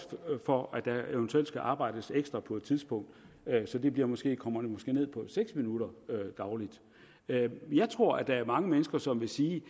for at der eventuelt skal arbejdes ekstra på et tidspunkt så det måske kommer ned på seks minutter dagligt jeg jeg tror at der er mange mennesker som vil sige